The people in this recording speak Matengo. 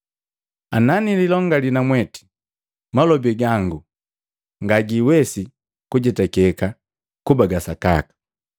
Nanililongali namweti malobi gangu ngagiwesi kujetakeka kuba ga sakaka.